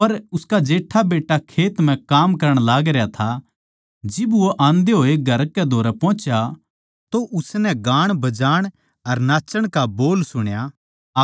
पर उसका जेट्ठा बेट्टा खेत म्ह काम करण लागरया था जिब वो आंदे होए घर कै धोरै पोहुच्या तो उसनै गाणबजाण अर नाचण का बोल सुण्या